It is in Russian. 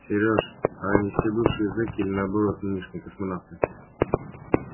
серёж а они все бывшие зеки или наоборот нынешние космонавты